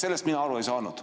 Sellest mina aru ei saanud.